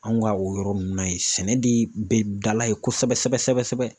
Anw ka o yɔrɔ ninnu na yen sɛnɛ de bɛ dala ye kosɛbɛ sɛbɛ sɛbɛ.